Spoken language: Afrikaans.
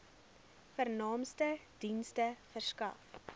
vernaamste dienste verskaf